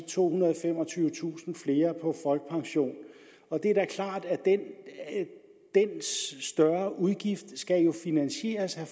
tohundrede og femogtyvetusind flere på folkepension det er da klart at den større udgift jo skal finansieres og